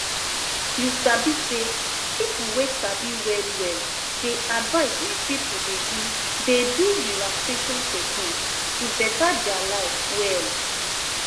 you sabi say people wey sabi well well dey advise make people dey do dey do relaxation technique to beta their life well